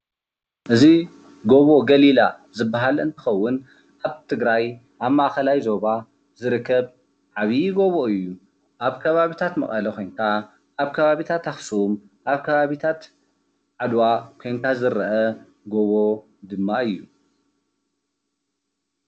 እዚ ጎቦ ገሊላ ዝበሃል እንትከውን አብ ትግራይ አብ ማእከላይ ዞባ ዝርከብ ዓብይ ጎቦ እዩ፡፡ አብ ከባብታት መቀለ ኮይንካ አብ ከባበታት አክሱም፣ አብ ከባብታት ዓድዋ ኮይንካ ዝረአ ጎቦ ድማ እዩ፡፡